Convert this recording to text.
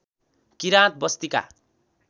किराँत बस्तीका